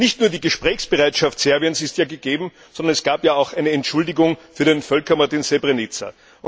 Nicht nur die Gesprächsbereitschaft Serbiens ist ja gegeben, sondern es gab ja auch eine Entschuldigung für den Völkermord in Srebrenica.